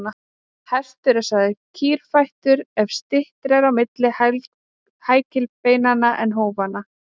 Hestur er sagður kýrfættur ef styttra er á milli hækilbeinanna en hófanna.